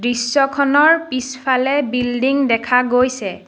দৃশ্যখনৰ পিছফালে বিল্ডিং দেখা গৈছে।